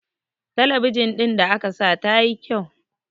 talabijin ɗin da aka sa ta yi kyau